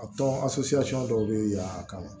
A tɔn dɔw bɛ yan a kama